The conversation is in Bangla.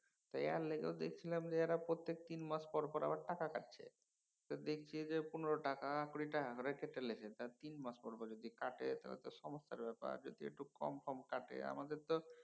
তো এর লিগাও দেখছিলাম যে এঁরা প্রত্যেক তিনমাস পর পর আবার টাকা কাটছে। তো দেখছি যে পনেরো টাকা কুড়ি টাকা করে কেটে লিচ্ছে। তিন মাস পর পর যদি কাটে তবে তো সমস্যার ব্যাপার। যদি একটু কম কম কাটে। আমাদের তো